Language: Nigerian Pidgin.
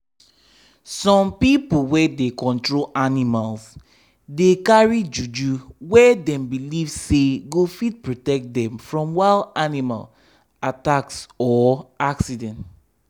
some people wey dey control animals dey carry juju wey dem believe say go fit protect them from wild animal attacks or accidents.